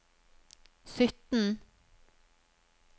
sytten